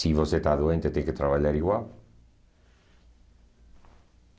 Se você está doente, tem que trabalhar igual.